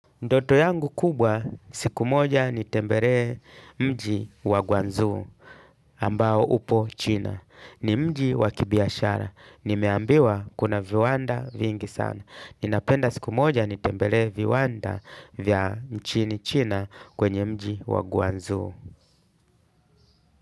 Ndoto yangu kubwa siku moja nitemberee mji wa gwanzu ambao upo China. Ni mji wa kibiashara. Nimeambiwa kuna viwanda vingi sana. Ninapenda siku moja nitembelee viwanda vya nchini China kwenye mji wa gwanzo.